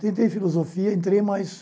Tentei filosofia, entrei mais...